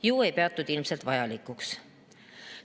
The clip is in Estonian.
Ilmselt ei peetud vajalikuks.